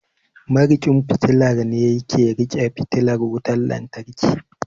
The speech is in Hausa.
Mariƙin fitila ne yake riƙe fitilar wutan lantarki